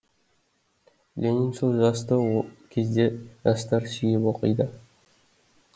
лениншіл жасты о кезде жастар сүйіп оқиды